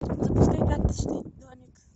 запускай карточный домик